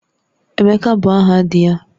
Emeka bụ aha dị ya